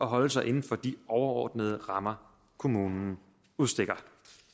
holde sig inden for de overordnede rammer kommunen udstikker